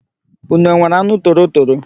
Ụnụ enwere anụ torotoro?